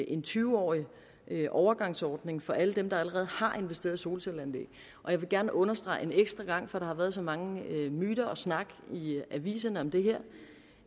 en tyve årig overgangsordning for alle dem der allerede har investeret i solcelleanlæg og jeg vil gerne understrege en ekstra gang for der har været så mange myter og snak i aviserne om det her